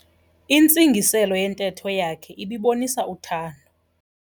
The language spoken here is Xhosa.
Intsingiselo yentetho yakhe ibibonisa uthando.